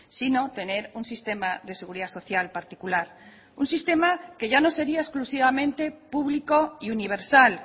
sino tener un sistema de seguridad social particular un sistema que ya no sería exclusivamente público y universal